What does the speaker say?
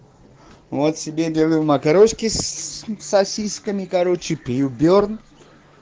вот себе делаю макарошки с сосисками короче пью берн